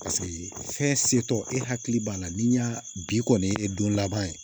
Paseke fɛn setɔ e hakili b'a la ni y'a bi kɔni ye don laban ye